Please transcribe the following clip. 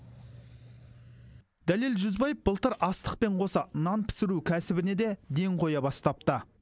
дәлел жүзбаев былтыр астықпен қоса нан пісіру кәсібіне де ден қоя бастапты